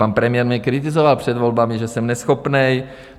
Pan premiér mě kritizoval před volbami, že jsem neschopný.